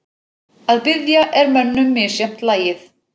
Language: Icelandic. Að biðja er mönnum misjafnt lagið.